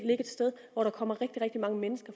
et sted hvor der kommer rigtig rigtig mange mennesker